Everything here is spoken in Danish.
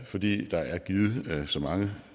fordi der er givet så mange